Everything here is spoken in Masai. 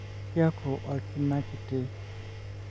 kiaku olkinaa kitii